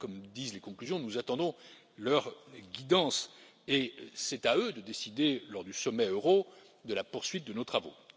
Comme disent les conclusions, nous attendons leur guidance et c'est à eux de décider, lors du sommet euro, de la poursuite de nos travaux.